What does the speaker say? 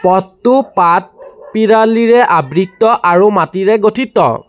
পথটো পাত পিৰালিৰে আবৃত্ত আৰু মাটিৰে গঠিত।